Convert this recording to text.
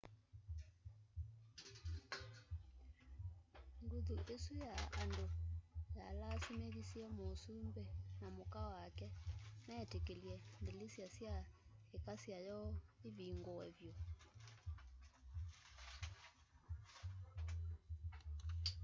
nguthu isu ya andu yalasimithisye masumbi na muka wake metikilye ndilisya sya ikasya yoo ivinguw vyu